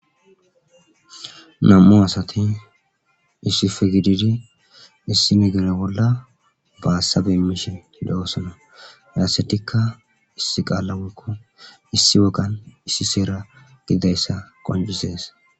nam7u asatin issife gididi issi migire bolla baassabe mishe le7oosana yaassetikka issi qaalla wkko issi wogan issi seera gididayssa qonjisees